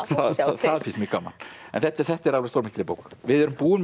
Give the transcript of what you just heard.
það finnst mér gaman en þetta er þetta er alveg stórmerkileg bók við erum búin með